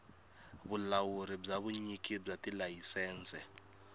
vulawuri bya vunyiki bya tilayisense